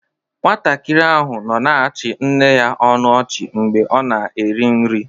Nwatakịrị ahụ nọ na-achị nne ya ọnụ ọchị mgbe ọ na-eri nri.